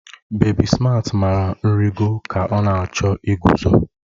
Bebi Smaat mara nrịgo ka ọ na-achọ iguzo